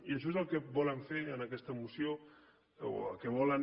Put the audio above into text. i això és el que volen fer en aquesta moció o el que volen